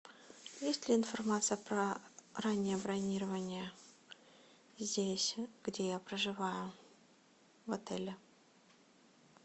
есть ли информация про раннее бронирование здесь где я проживаю в отеле